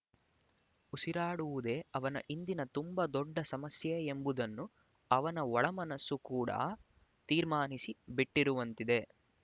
ಉಸಿರಾಡುವುದೇ ಅವನ ಇಂದಿನ ತುಂಬ ದೊಡ್ಡ ಸಮಸ್ಯೆ ಎಂಬುದನ್ನು ಅವನ ಒಳ ಮನಸ್ಸು ಕೂಡ ತೀರ್ಮಾನಿಸಿ ಬಿಟ್ಟಿರುವಂತಿದೆ